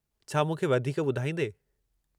छा मूंखे वधीक ॿुधाईंदें?